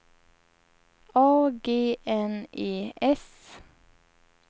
A G N E S